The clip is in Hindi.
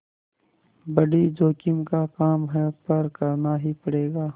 बड़ी जोखिम का काम है पर करना ही पड़ेगा